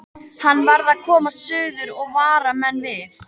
Hann varð að komast suður og vara menn við.